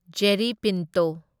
Jerry Pinto